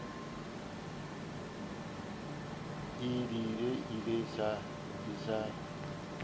e di lle e sa